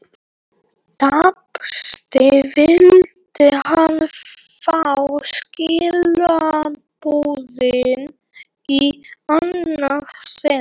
Tæpast vildi hann fá skilaboðin í annað sinn.